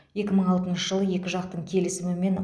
екі мың алтыншы жылы екі жақтың келісімімен